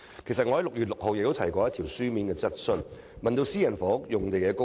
我在6月6日的會議曾提出書面質詢，問及私人房屋用地的供應。